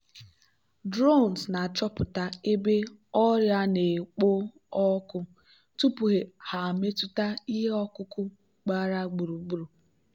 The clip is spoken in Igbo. drones na-achọpụta ebe ọrịa na-ekpo ọkụ tupu ha emetụta ihe ọkụkụ gbara gburugburu.